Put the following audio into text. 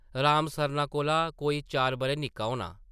राम सरना कोला कोई चार बʼरे निक्का होना ।